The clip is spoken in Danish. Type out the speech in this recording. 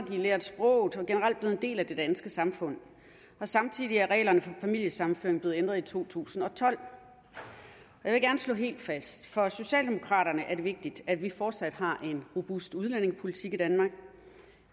har lært sproget og en del af det danske samfund og samtidig er reglerne for familiesammenføring blevet ændret i to tusind og tolv jeg vil gerne slå noget helt fast for socialdemokraterne er det vigtigt at vi fortsat har en robust udlændingepolitik i danmark